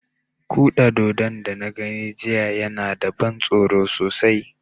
Kuda dodon da na gani jiya yana da ban tsoro sosai.